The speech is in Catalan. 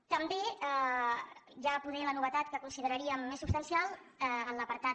també hi ha potser la novetat que consideraríem més substancial en l’apartat